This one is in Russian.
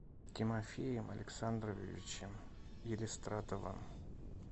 тимофеем александровичем елистратовым